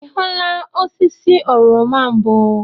Ị hụla osisi oroma mbụ?